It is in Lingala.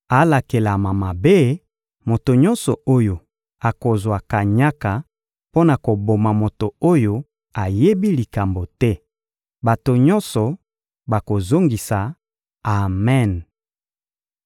«Alakelama mabe, moto nyonso oyo akozwa kanyaka mpo na koboma moto oyo ayebi likambo te!» Bato nyonso bakozongisa: «Amen!»